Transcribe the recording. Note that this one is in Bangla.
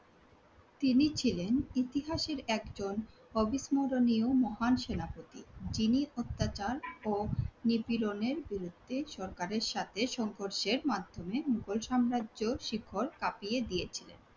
তিনি ছিলেন ইতিহাসের একজন অবিস্মণীয় মহান সেনাপতি। তিনি অত্যাচার ও নিপীড়ণের বিরুদ্ধে সরকারের সাথে সংঘর্ষের মাধ্যমে মোঘল সাম্রাজ্যের শিকড় কাঁপিয়ে দিয়েছিলেন।